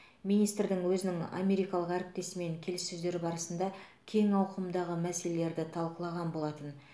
министр өзінің америкалық әріптесімен келіссөздер барысында кең ауқымдағы мәселелерді талқылаған болатын